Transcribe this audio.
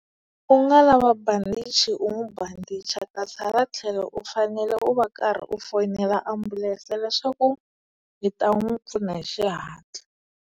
U nga lava bandichi u n'wi bandicha kasi hala tlhelo u fanele u va u karhi u fonela ambulense leswaku yi ta n'wi pfuna hi xihatla.